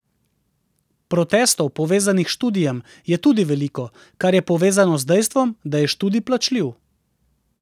Protestov, povezanih s študijem, je tudi veliko, kar je povezano z dejstvom, da je študij plačljiv.